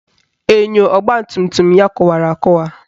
Enyo ọgbatumtum ya kụwara akụwa